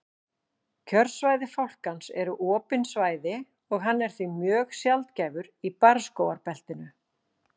kjörsvæði fálkans eru opin svæði og hann er því mjög sjaldgæfur í barrskógabeltinu